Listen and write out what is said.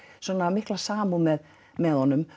mikla samúð með með honum